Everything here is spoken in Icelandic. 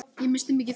Ég missti mikið.